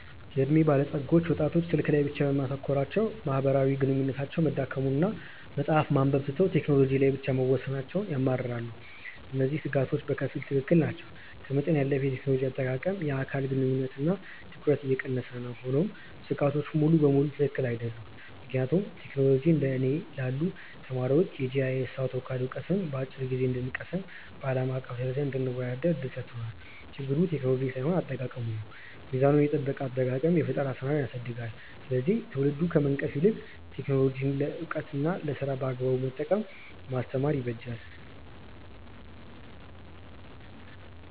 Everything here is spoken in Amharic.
የዕድሜ ባለጸጎች ወጣቶች ስልክ ላይ ብቻ በማተኮራቸው ማህበራዊ ግንኙነታቸው መዳከሙንና መጽሐፍት ማንበብ ትተው ቴክኖሎጂ ላይ ብቻ መወሰናቸውን ያማርራሉ። እነዚህ ስጋቶች በከፊል ትክክል ናቸው፤ ከመጠን ያለፈ የቴክኖሎጂ አጠቃቀም የአካል ግንኙነትንና ትኩረትን እየቀነሰ ነው። ሆኖም ስጋቶቹ ሙሉ በሙሉ ትክክል አይደሉም፤ ምክንያቱም ቴክኖሎጂ እንደ እኔ ላሉ ተማሪዎች የጂአይኤስና አውቶካድ ዕውቀትን በአጭር ጊዜ እንድንቀስምና በአለም አቀፍ ደረጃ እንድንወዳደር እድል ሰጥቶናል። ችግሩ ቴክኖሎጂው ሳይሆን አጠቃቀሙ ነው። ሚዛኑን የጠበቀ አጠቃቀም የፈጠራ ስራን ያሳድጋል፤ ስለዚህ ትውልዱን ከመንቀፍ ይልቅ ቴክኖሎጂን ለዕውቀትና ለስራ በአግባቡ መጠቀምን ማስተማር ይበጃል።